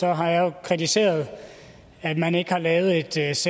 herre andreas